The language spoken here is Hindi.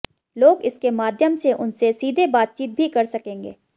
लोग इसके माध्यम से उनसे सीधे बातचीत भी कर सकेंगे